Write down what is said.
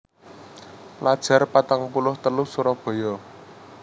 Pelajar patang puluh telu Surabaya